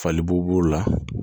Fali bo b'o la